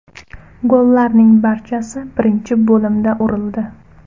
Gollarning barchasi birinchi bo‘limda urildi.